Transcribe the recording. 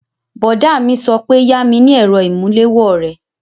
Bọ̀dá mi sọ pé yami ni èrò ìmúléwó rẹ!